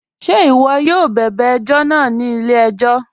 Ṣẹ̀ iwọ̀ yóò bẹbẹ̀ ẹ̀jọ̀ náà ni ilẹ̀-ẹ̀jọ̀?